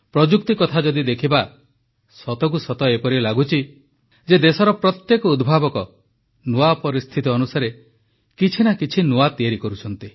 ପ୍ରଯୁକ୍ତି କଥା ଯଦି ଦେଖିବା ସତକୁ ସତ ଏପରି ଲାଗୁଛି ଯେ ଦେଶର ପ୍ରତ୍ୟେକ ଉଦ୍ଭାବକ ନୂଆ ପରିସ୍ଥିତି ଅନୁସାରେ କିଛି ନା କିଛି ନୂଆ ତିଆରି କରୁଛି